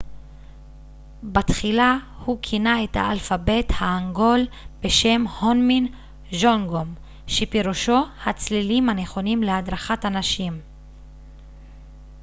בתחילה הוא כינה את האלפבית ההנגול בשם הונמין ג'ונגום שפירושו הצלילים הנכונים להדרכת אנשים